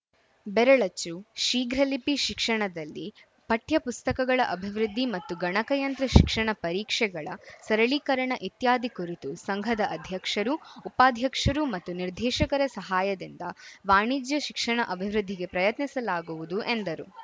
ಬೆರಳಚ್ಚು ಶೀಘ್ರಲಿಪಿ ಶಿಕ್ಷಣದಲ್ಲಿ ಪಠ್ಯ ಪುಸ್ತಕಗಳ ಅಭಿವೃದ್ಧಿ ಮತ್ತು ಗಣಕಯಂತ್ರ ಶಿಕ್ಷಣ ಪರೀಕ್ಷೆಗಳ ಸರಳೀಕರಣ ಇತ್ಯಾದಿ ಕುರಿತು ಸಂಘದ ಅಧ್ಯಕ್ಷರು ಉಪಾಧ್ಯಕ್ಷರು ಮತ್ತು ನಿರ್ದೇಶಕರ ಸಹಾಯದಿಂದ ವಾಣಿಜ್ಯ ಶಿಕ್ಷಣ ಅಭಿವೃದ್ಧಿಗೆ ಪ್ರಯತ್ನಿಸಲಾಗುವುದು ಎಂದರು